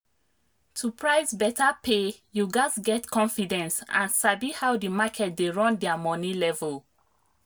to price better pay you gats get confidence and sabi how the market dey run their money level.